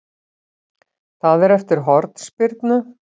Það er eftir hornspyrnu.